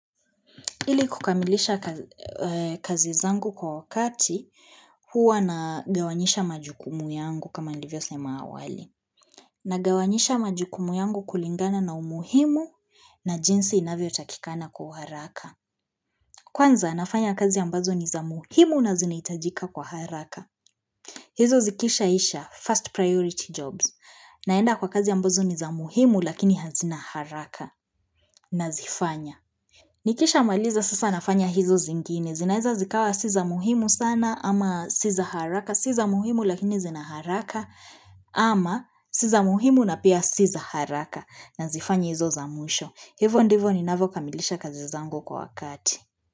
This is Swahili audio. Ili kukamilisha kazi zangu kwa wakati huwa nagawanyisha majukumu yangu kama nilivyosema awali. Nagawanyisha majukumu yangu kulingana na umuhimu na jinsi inavyotakikana kwa uharaka. Kwanza nafanya kazi ambazo ni za muhimu na zinahitajika kwa haraka. Hizo zikishaisha first priority jobs naenda kwa kazi ambazo ni za muhimu lakini hazina haraka nazifanya. Nikishamaliza sasa nafanya hizo zingine. Zinaeza zikawa si za muhimu sana ama si za haraka. Si za muhimu lakini zina haraka ama si za muhimu na pia si za haraka nazifanya hizo za mwisho. Hivo ndivo ninavokamilisha kazi zangu kwa wakati.